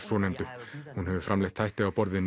svonefndu hún hefur framleitt þætti á borð við